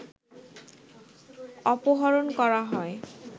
অপহরণ করা হয়